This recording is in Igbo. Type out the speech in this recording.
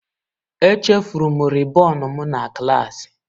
Echefuru m rịbọn m na klaasị.